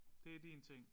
Det er din ting